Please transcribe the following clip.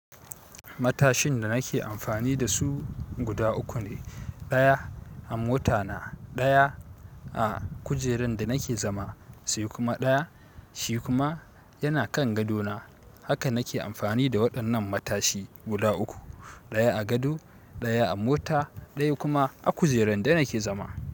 Matashin da nake amfani da su guda uku ne. Daya a mota na, daya a kujeran da nake zama, sai kuma daya shi kuma yana kan gado na haka nake amfani da waɗannan matashi guda uku. Ɗaya a gado, ɗaya a mota, ɗaya kuma a kujerar da nake zama.